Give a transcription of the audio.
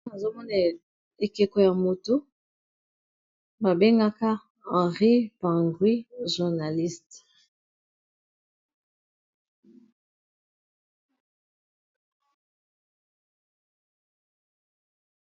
Awa nazomona ekeko ya moto babengaka henri pangui journaliste